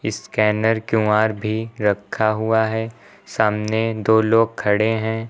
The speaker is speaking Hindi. स्कैनर क्यू_आर भी रखा हुआ है सामने दो लोग खड़े हैं।